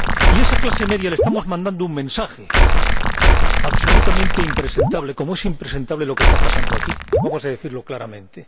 Y a esa clase media le estamos mandando un mensaje absolutamente impresentable, como es impresentable lo que está pasando aquí, y vamos a decirlo claramente.